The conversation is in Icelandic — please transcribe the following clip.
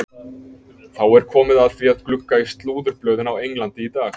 Þá er komið að því að glugga í slúðurblöðin á Englandi í dag.